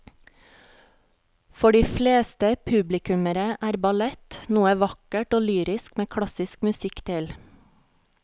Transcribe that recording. For de fleste publikummere er ballett noe vakkert og lyrisk med klassisk musikk til.